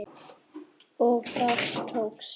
Og það tókst.